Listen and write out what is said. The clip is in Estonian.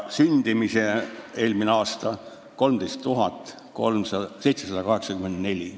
Sündimisi oli eelmisel aastal 13 784.